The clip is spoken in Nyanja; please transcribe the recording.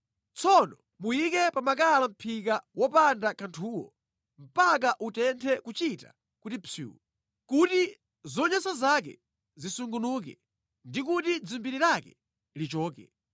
Tsono muyike pa makala mʼphika wopanda kanthuwo mpaka utenthe kuchita kuti psuu kuti zonyansa zake zisungunuke ndi kuti dzimbiri lake lichoke.